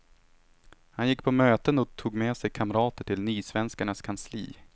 Han gick på möten och tog med sig kamrater till nysvenskarnas kansli.